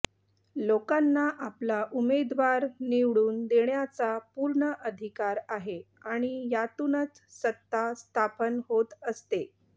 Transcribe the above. लोकांना आपला उमेदवार निवडून देण्याचा पूर्ण अधिकार आहे आणि यातूनच सत्ता स्थापन होत असते